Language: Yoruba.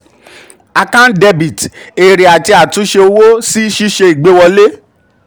a/c dr èrè àti àti òfò sí ṣíṣe òwò: àtúnṣe ìgbéwọlê.